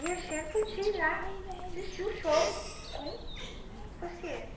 E a gente podia ir lá assistir o show com os pacientes.